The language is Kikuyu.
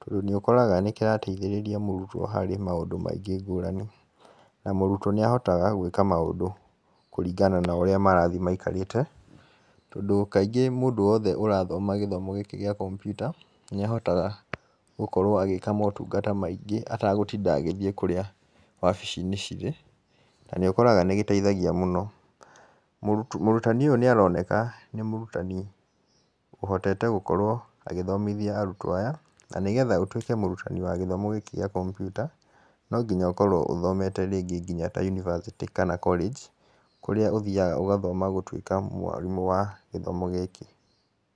tondũ nĩ ũkoraga nĩ kĩrateithĩrĩria mũrutwo harĩ maũndũ maingĩ ngũrani. Na mũrutwo nĩ ahotaga gwĩka maũndũ kũringana na ũrĩa marathiĩ maikarĩte. Tondũ kaingĩ mũndũ wothe ũrathoma gĩthomo gĩkĩ gĩa kompiuta, nĩ ahotaga gwĩka motungata maingĩ, atagũtinda agĩthiĩ kũrĩa wabici-inĩ cirĩ, na nĩ ũkoraga nĩ giteithagia mũno. Mũrutani ũyũ nĩ aroneka nĩ mũrutani ũhotete gũkorwo agĩthomithia arutwo aya. Na nĩgetha ũtuĩke mũrutani wa gĩthomo gĩkĩ gĩa kompiuta, no nginya ũkorwo ũthomete rĩngĩ nginya ta yunivasĩtĩ kana college, kũrĩa ũthiaga ũgathoma gũtuĩka mwarimũ wa gĩthomo gĩkĩ.